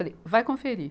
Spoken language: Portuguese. Falei, vai conferir.